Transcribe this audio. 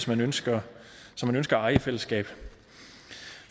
man ønsker at eje i fællesskab